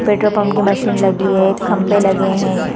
Petrol pump की machine लगी है एक खम्बे लगे है।